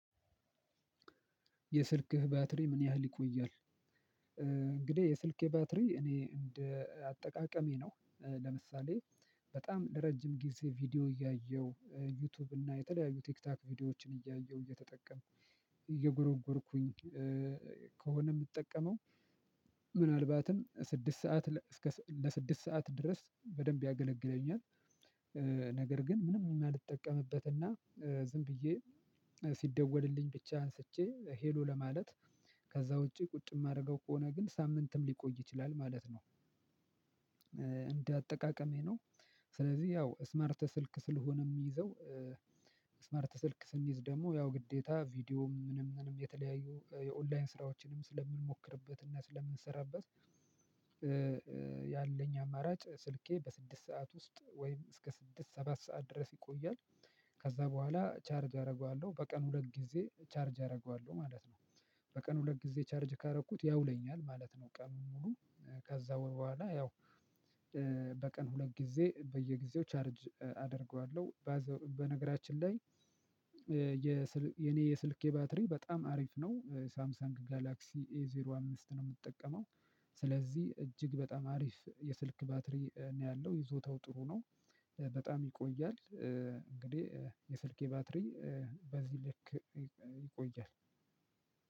የስልክህ ባትሪ ምን ያህል ይቆያል? እንግዲህ የስልኬ ባትሪ እኔ እንደ አጠቃቀሜ ነው ለምሳሌ በጣም ለረጅም ጊዜ ቪዲዮ እያየሁ ዩቲዩብ እና የተለያዩ ቲክታክ ቪዲዮዎችን እያየሁ እየተጠቀምኩ እየጎረጎርኩኝ ከሆነ የምጠቀመው ምናልባትም ስድስት ሰዓት እስከ ለስድስት ሰዓት ድረስ በደንብ ያገለግለኛል። ነገር ግን ምንም የማልጠቀምበትና ዝም ብዬ ሲደወልልኝ ብቻ አንስቼ ሄሎ ለማለት ከዛ ውጪ ቁጭ የማደርገው ከሆነ ግን ሳምንትም ሊቆይ ይችላል ማለት ነው። እንደ አጠቃቀሜ ነው። ስለዚህ ያው ስማርት ስልክ ስለሆነ የሚይዘው ስማርት ስልክ ስንይዝ ደግሞ ያው ግዴታ ቪዲዮም ምንም ምንም የተለያዩ የኦንላይን ስራዎችንም ስለምንሞክርበት እና ስለምንሰራበት። ያለኝ አማራጭ ስልኬ በስድስት ሰዓት ውስጥ ወይም እስከ ስድስት ሰባት ሰዓት ድረስ ይቆያል። ከዛ በኋላ ቻርጅ አደርገዋለሁ በቀን ሁለት ጊዜ ቻርጅ አደርገዋለሁ ማለት ነው። በቀን ሁለት ጊዜ ቻርጅ ካደረኩት ያውለኛል ማለት ነው። ቀኑን ሙሉ ከዛ በኋላ ያው በቀን ሁለት ጊዜ በየጊዜው ቻርጅ አደርገዋለሁ። በነገራችን ላይ። የኔ የስልኬ ባትሪ በጣም አሪፍ ነው ሳምሳንግ ጋላክሲ ኤዜሮ አምስት ነው የምትጠቀመው። ስለዚህ እጅግ በጣም አሪፍ የስልክ ባትሪ ነው ያለው ይዞታው ጥሩ ነው። በጣም ይቆያል እንግዲህ የስልኬ ባትሪ በዚህ ልክ ይቆያል።